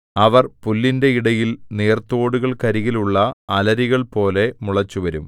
അവർ പുല്ലിന്റെ ഇടയിൽ നീർത്തോടുകൾക്കരികിലുള്ള അലരികൾപോലെ മുളച്ചുവരും